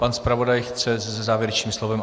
Pan zpravodaj chce se závěrečným slovem?